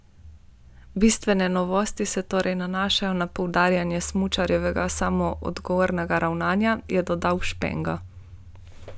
Bistvene novosti se torej nanašajo na poudarjanje smučarjevega samoodgovornega ravnanja, je dodal Špenga.